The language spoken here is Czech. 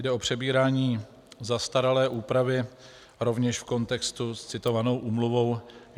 Jde o přebírání zastaralé úpravy, rovněž v kontextu s citovanou úmluvou.